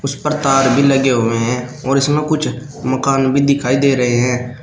इस पर तार भी लगे हुए हैं और इसमें कुछ मकान भी दिखाई दे रहे हैं।